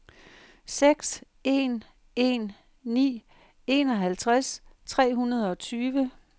seks en en ni enoghalvtreds tre hundrede og tyve